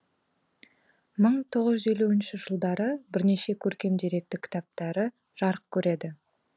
мың тоғыз жүз елуінші жылдары жылдары бірнеше көркем деректі кітаптары жарық көреді